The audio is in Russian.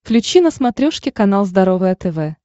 включи на смотрешке канал здоровое тв